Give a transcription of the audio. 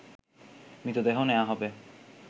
মৃতদেহ নেওয়া হবে